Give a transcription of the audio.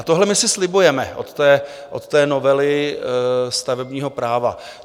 A tohle my si slibujeme od té novely stavebního práva.